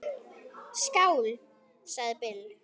Skál, sagði Bill.